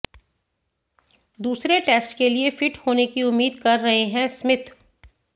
दूसरे टेस्ट के लिए फिट होने की उम्मीद कर रहे हैं स्मिथ